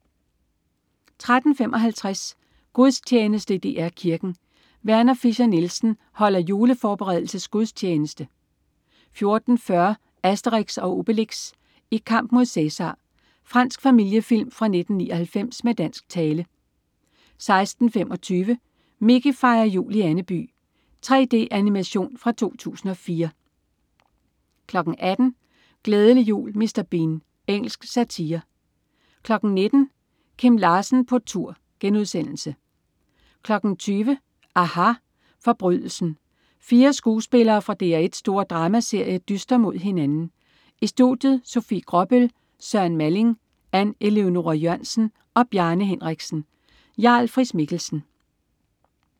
13.55 Gudstjeneste i DR Kirken. Werner Fischer-Nielsen holder juleforberedelsesgudstjeneste 14.40 Asterix & Obelix. I kamp mod Cæsar. Fransk familiefilm fra 1999 med dansk tale 16.25 Mickey fejrer jul i Andeby. 3D-animation fra 2004 18.00 Glædelig jul Mr. Bean. Engelsk satire 19.00 Kim Larsen på tur* 20.00 aHA. Forbrydelsen. Fire skuespillere fra DR1's store dramaserie dyster mod hinanden. I studiet: Sofie Gråbøl, Søren Malling, Ann Eleonora Jørgensen og Bjarne Henriksen. Jarl Friis-Mikkelsen